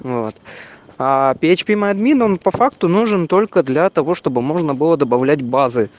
вот а пи эйч пи мы админ он по факту нужен только для того чтобы можно было добавлять базы